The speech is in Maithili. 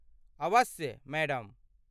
अवश्य , मैडम।